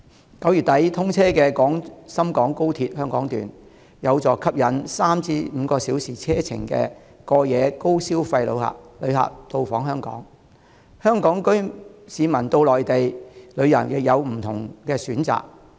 在9月底通車的廣深港高鐵，有助吸引3至5小時車程範圍內的城市的過夜高消費旅客到訪香港，香港市民到內地旅遊亦有更多不同的選擇。